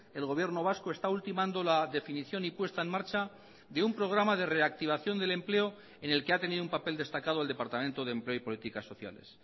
el gobierno vasco está ultimando la definición y puesta en marcha de un programa de reactivación del empleo en el que ha tenido un papel destacado el departamento de empleo y políticas sociales